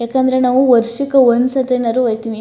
ಏಕೆಂದರೆ ನಾವು ವರ್ಷಕ್ಕೆ ಒಂದು ಸರ್ತಿನಾದ್ರು ಹೋಯ್ತಿವಿ.